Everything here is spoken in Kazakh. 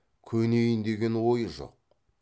көнейін деген ойы жоқ